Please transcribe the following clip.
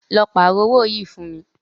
Lọ pààrọ́ owó yìí fún mí.